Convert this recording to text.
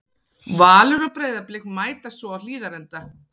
Valur og Breiðablik mætast svo á Hlíðarenda.